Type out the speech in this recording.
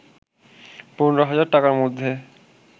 ১৫ হাজার টাকার মধ্যে